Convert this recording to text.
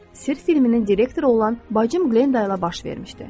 Sirr filminin direktoru olan bacım Glenda ilə baş vermişdi.